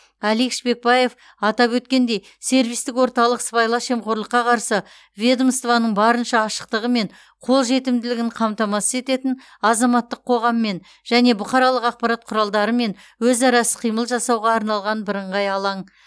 алик шпекбаев атап өткендей сервистік орталық сыбайлас жемқорлыққа қарсы ведомствоның барынша ашықтығы мен қолжетімділігін қамтамасыз ететін азаматтық қоғаммен және бұқаралық ақпарат құралдарымен өзара іс қимыл жасауға арналған бірыңғай алаң